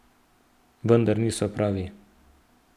Vendar niso pravi.